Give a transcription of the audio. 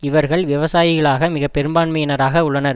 இவர்கள் விவசாயிகளாக மிகப்பெரும்பான்மையினராக உள்ளனர்